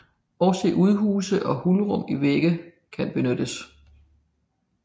Også udhuse og hulrum i vægge kan benyttes